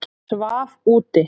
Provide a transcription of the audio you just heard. Svaf úti